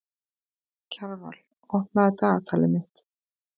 Kjarval, opnaðu dagatalið mitt.